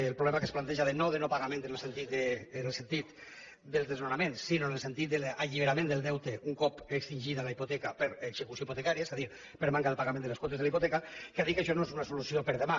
el problema que es planteja no de no pagament en el sentit del desnonament sinó en el sentit de l’alliberament del deute un cop extingida la hipoteca per execució hipotecària és a dir per manca de pagament de les quotes de la hipoteca que ha dit que això no és una solució per a demà